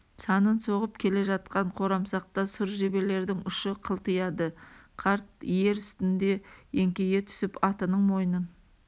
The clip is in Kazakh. санын соғып келе жатқан қорамсақта сұр жебелердің ұшы қылтияды қарт ер үстінде еңкейе түсіп атының мойнын